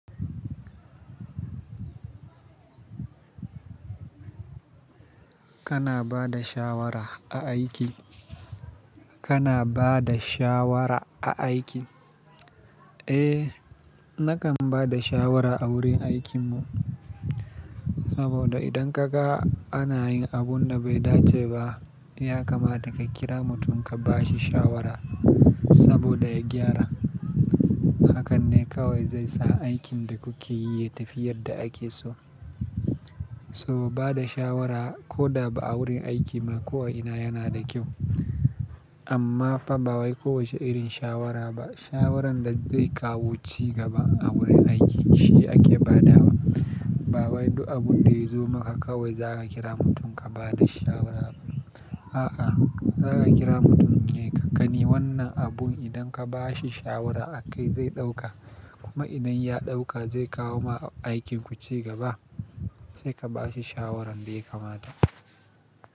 Kana ba da shawara a aiki? Kana ba da shawara a aiki? Eh, nakan ba da shawara a wurin aikin mu. Saboda idan ka ga ana yin abun da bai dace ba, ya kamata ka kira mutum ka ba shi shawara saboda ya gyara. Hakan ne kawai zai sa aikin da kuke yi ya tafi yadda ake so. Saboda bada shawara ko da ba a wurin aiki ba, ko'ina yana da kyau. Amma fa ba wai kowace irin shawara ba. Shawaran da zai kawo ci gaba a wurin aiki shi ake badawa. Ba wai duk abun da ya zo maka kawai za ka kira mutum ka ba da shawara ba. A'a, za ka kira mutum ne, ka gani wannan abun idan ka ba shi shawara akai zai ɗauka. Kuma idan ya ɗauka zai kawo ma aikin ku cigaba? Sai ka ba shi shawaran da ya kamata.